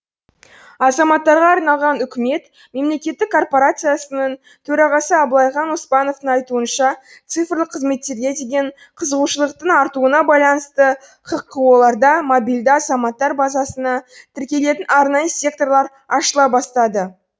азаматтарға арналған үкімет мемлекеттік корпорациясының төрағасы абылайхан оспановтың айтуынша цифрлық қызметтерге деген қызығушылықтың артуына байланысты хқо ларда мобильда азаматтар базасына тіркелетін арнайы секторлар ашыла бастады